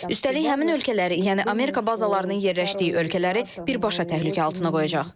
Üstəlik həmin ölkələri, yəni Amerika bazalarının yerləşdiyi ölkələri birbaşa təhlükə altına qoyacaq.